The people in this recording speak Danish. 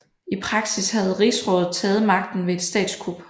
I praksis havde Rigsrådet taget magten ved et statskup